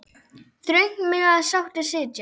Þröngt mega sáttir sitja.